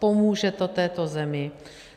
Pomůže to této zemi.